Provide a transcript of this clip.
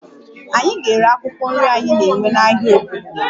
Anyị ga-ere akwụkwọ nri anyị na-ewe n'ahịa obodo